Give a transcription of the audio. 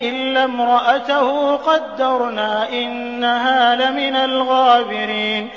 إِلَّا امْرَأَتَهُ قَدَّرْنَا ۙ إِنَّهَا لَمِنَ الْغَابِرِينَ